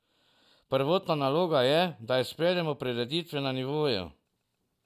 Prvotna naloga je, da izpeljemo prireditve na nivoju.